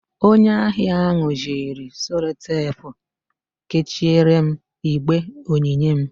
Onye ahịa ahụ jiri Sellotepụ kechiere m igbe onyinye m